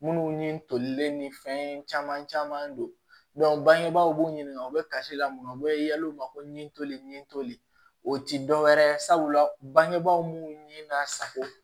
Minnu ni tolilen ni fɛn caman caman don bangebaw b'u ɲininka u bɛ kasila minnu na u bɛ yala u ma ko ɲi toli ni toli o tɛ dɔwɛrɛ ye sabula bangebaaw mun ni n'a sago